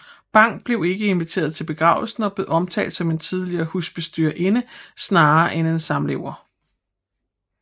Bang var ikke inviteret til begravelsen og blev omtalt som en tidligere husbestyrerinde snarere end en samlever